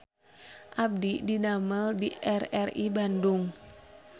Abdi didamel di RRI Bandung